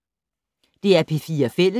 DR P4 Fælles